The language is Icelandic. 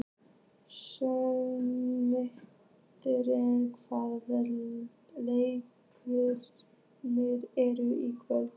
Sigurmann, hvaða leikir eru í kvöld?